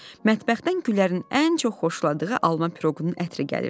Mətbəxdən Güllərin ən çox xoşladığı alma piroqunun ətri gəlirdi.